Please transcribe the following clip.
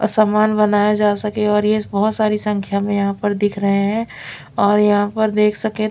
सामान बनाया जा सके और ये बहुत सारी संख्या में यहां पर दिख रहे है और यहां पर देख सके--